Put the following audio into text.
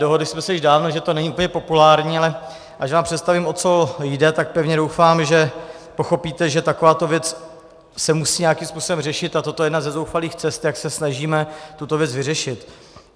Dohodli jsme se už dávno, že to není úplně populární, ale až vám představím, o co jde, tak pevně doufám, že pochopíte, že takováto věc se musí nějakým způsobem řešit, a toto je jedna ze zoufalých cest, jak se snažíme tuto věc vyřešit.